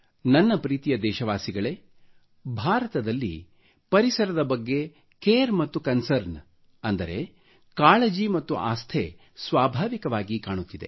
ನನ್ನ ಪ್ರೀತಿಯ ದೇಶವಾಸಿಗಳೆ ಭಾರತದಲ್ಲಿ ಪರಿಸರದ ಬಗ್ಗೆ ಕೇರ್ ಮತ್ತು ಕಾನ್ಸರ್ನ್ ಅಂದರೆ ಮೇಲ್ವಿಚಾರಣೆಯ ಆಸ್ಥೆ ಸ್ವಾಭಾವಿಕವಾಗಿ ಕಾಣುತ್ತಿದೆ